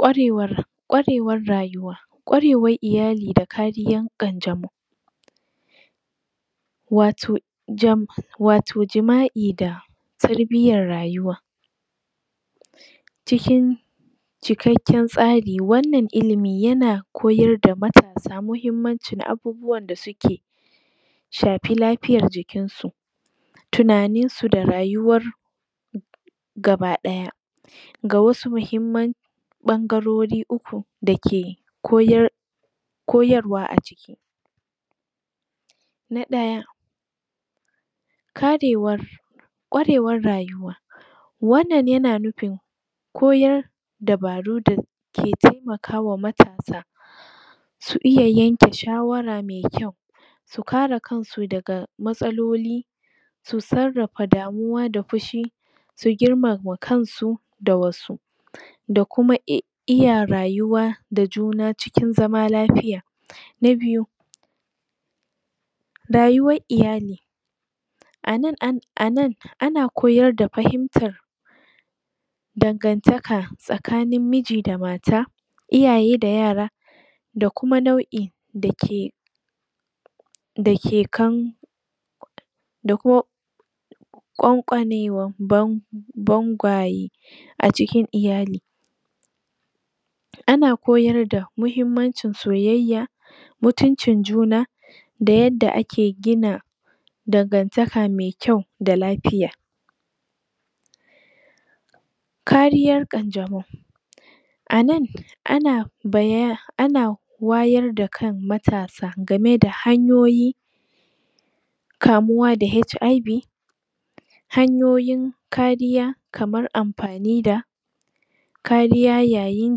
Kwarewar, kwarewar rayuwa kwarewan iyali da kariyan ƙanjamau wato jam, wato jima'i da tarbiyan rayuwa cikin cikakkan tsari wannan ilimi yana koyarda mata bisa mahimmanci abubuwan da suke shafi lafiyan jikinsu tunaninsu da rayuwar gaba ɗaya ga wasu mahimman ɓan garori uku da ke koyar koyarwa a na ɗaya karewar ƙwarewar rayuwa wannan yana nufin koyar da baru da ke temakawa matasa su iya yanke shawara mai kyau su kare kansu daga matsaloli su sarrafa damuwa da fushi su girmama kansu da wasu dakuma iy iya rayuwa da jna cikin zama lafiya na biyu rayuwar iyali anan, an anan ana koyar da fahimtar dagantaka tsakanin miji da mata iyaye da yara da kuma nau in dake dake kan da ko ƙonkwanewan ban bangwaye acikin iyali ana koyarda mahimmancin soyayya mutuncin juna da yadda ake gina dan gantaka mai kyau da lafiya kariyan kanjamau anan ana baya ana wayar da kan matasa dangane da hanyoyi kamuwa da HIV hayoyin kariya kamar amfani da kariya yayin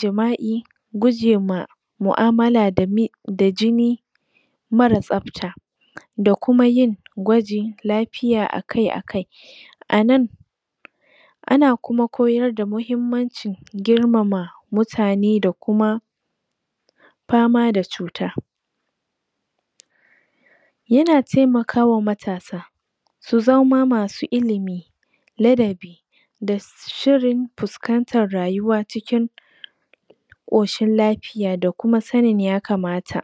jima'i gujema mu amala da jini mara tsafta da kuma yin gwaji lafiya akai akai anan ana kuma koayar da mahimmanci girmama mutane da kuma fama da cuta yana temakama matasa su zama masu ilimi ladabi da shirin fuskantan rayuwa cikin ƙoshin lafiya da kuma sanin yakamata